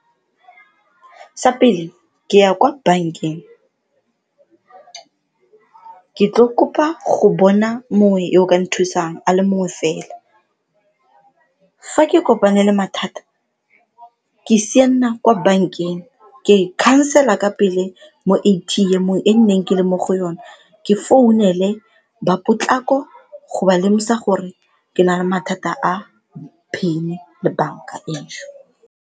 Sa pele, ke ya kwa bankeng ke tlo kopa go bona mongwe yo ka nthusang a le mongwe fela. Fa ke kopane le mathata, ke sianela kwa bankeng ke khansela ka pele mo A_T_M-ong e nneng ke le mo go yona ke founele ba potlako go ba lemosa gore ke na le mathata a PIN-e le banka e.